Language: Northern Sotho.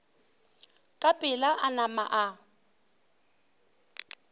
ka pela a nama a